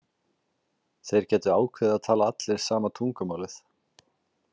Þeir gætu ákveðið að tala allir sama tungumálið.